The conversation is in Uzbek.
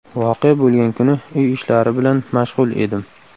Voqea bo‘lgan kuni uy ishlari bilan mashg‘ul edim.